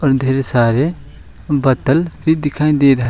और ढेर सारे बोतल भी दिखाई दे रहा--